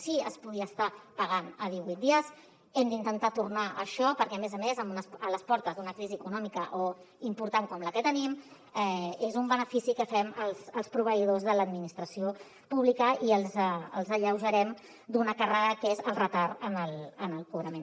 si es podia estar pagant a divuit dies hem d’intentar tornar a això perquè a més a més a les portes d’una crisi econòmica important com la que tenim és un benefici que fem als proveïdors de l’administració pública i els alleujarem d’una càrrega que és el retard en el cobrament